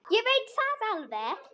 Ég veit það alveg.